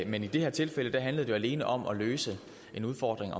men i det her tilfælde handlede det jo alene om at løse en udfordring